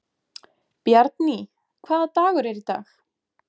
Bjarný, hvaða dagur er í dag?